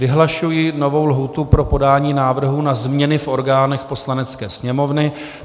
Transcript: Vyhlašuji novou lhůtu pro podání návrhu na změny v orgánech Poslanecké sněmovny.